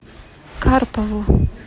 карпову